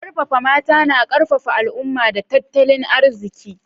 Karfafa mata na karfafa al'umma da tattalin arziki.